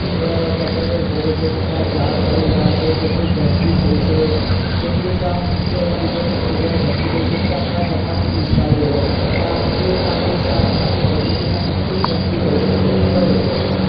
ગટરો ઉભરાઈ છે કેટલાક ઝાડ પડી ગયા છે કેટલીક ગંદકી થઇ છે કેટલીક આમ કીચડના લીધે કેટલી જગ્યાએ ગંદકી થઇ છે કે આપણા જમાલપુર વિસ્તાર લઇ લો ત્યાં market શાક market બધું છે ત્યાં કેટલી ગંદકી થઇ છે ઈ તમને ખબર જ હશે